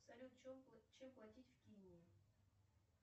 салют чем платить в кении